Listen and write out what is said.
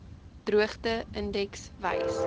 droogte indeks wys